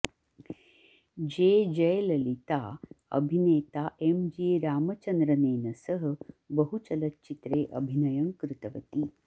जे जयललिता अभिनेता M G रामचन्द्रनेन सह बहुचलच्चित्रे अभिनयं कृतवती